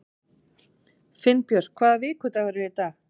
Finnbjörk, hvaða vikudagur er í dag?